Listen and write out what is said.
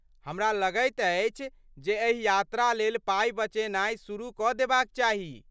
हमरा लगैत अछि जे एहि यात्रा लेल पाइ बचेनाइ शुरू कऽ देबाक चाही।